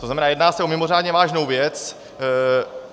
To znamená, jedná se o mimořádně vážnou věc.